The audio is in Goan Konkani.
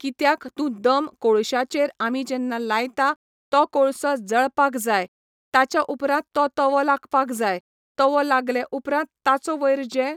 कित्याक तूं दम कोळश्याचेर आमी जेन्ना लायता, तो कोळसो जळपाक जाय, ताच्या उपरांत तो तवो लागपाक जाय, तवो लागले उपरांत ताचो वयर जे